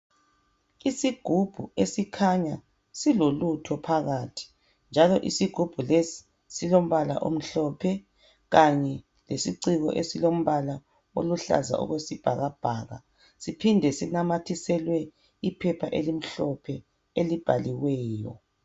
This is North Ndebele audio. Isigubhu esikhanya silo lutho phakathi njalo isigubhu lesi silombala omhlophe kanye lesiciko esilombala oluhlaza okwe sibhakabhaka siphinde sinamathiselwe iphepha elimhlophe elibhaliweyo.